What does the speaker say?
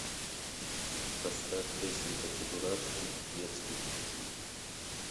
поставь песенка чебурашки детских песен